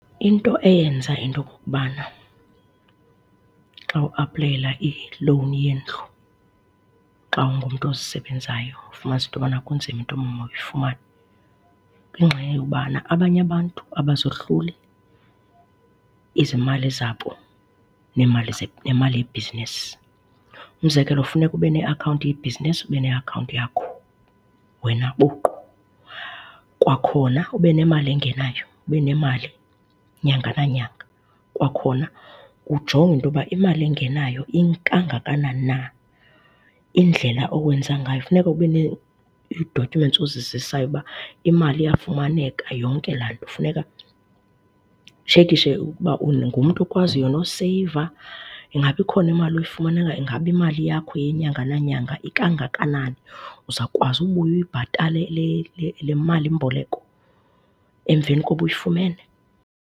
Into eyenza into okokubana xa uaplayela i-loan yendlu xa ungumntu ozisebenzayo ufumanise into yokuba kunzima uba mawuyifumane, ngenxa yobana abanye abantu abazohluli izimali zabo neemali, nemali yebhizinisi. Umzekelo funeka ube neakhawunti yebhizinisi, ube neakhawunti yakho wena buqu. Kwakhona ube nemali engenayo ube nemali nyanga nanyanga. Kwakhona kujongwe into yoba imali engenayo ikangakanani na. Indlela owenza ngayo funeka ube ii-documents ozizisayo uba imali iyafumaneka, yonke laa nto. Funeka kutshekishe ukuba ungumntu okwaziyo noseyiva, ingaba ikhona imali oyifumanayo, ingaba imali yakho yenyanga nanyanga ikangakanani. Uzawukwazi ubuye uyibhatale le malimboleko emveni koba uyifumene.